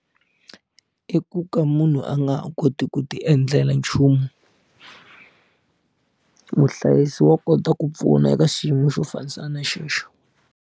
I ku ka munhu a nga ha koti ku ti endlela nchumu muhlayisi wa kota ku pfuna eka xiyimo xo fanisana na xexo.